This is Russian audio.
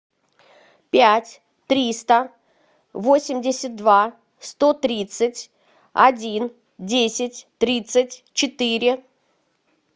пять триста восемьдесят два сто тридцать один десять тридцать четыре